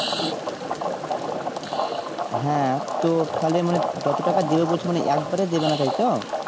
হ্যাঁ তো তাহলে মানে যত টাকা দেবে বলছে মানে একবারে দেবেনা তাই তো?